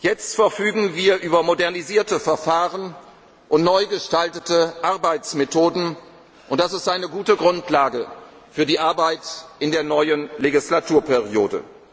Jetzt verfügen wir über modernisierte Verfahren und neu gestaltete Arbeitsmethoden, und das ist eine gute Grundlage für die Arbeit in der neuen Wahlperiode.